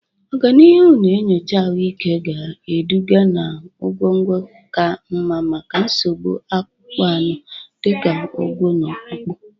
Ọganihu na nyocha ahụike ga-eduga na ọgwụgwọ ka mma maka nsogbu akpụkpọ anụ dị ka ụgwọ̀ na Ọkpụkpụ